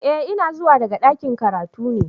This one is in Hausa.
Eh ina zuwa daga dakin karatu ne.